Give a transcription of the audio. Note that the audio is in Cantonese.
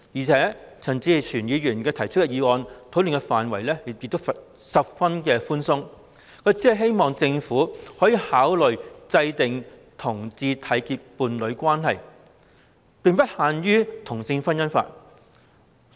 再者，陳議員所提議案的討論範圍十分寬鬆，只希望政府考慮制訂讓同志締結伴侶關係的政策，並不限於制定同性婚姻法。